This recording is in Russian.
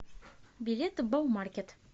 билет баумаркет